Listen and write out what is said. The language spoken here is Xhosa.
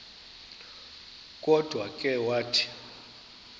kodwa ke wathi